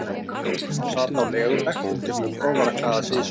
Hún sat á legubekk undir glugga og var að klæða sig í sokk.